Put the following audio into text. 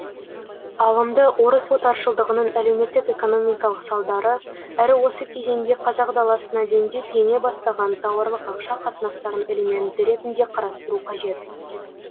алымды орыс отаршылдығының әлеуметтік экономикалық салдары әрі осы кезеңде қазақ даласына дендеп ене бастаған тауарлық ақша қатынастарын элементі ретінде қарастыру қажет